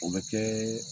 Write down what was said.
O bɛ kɛ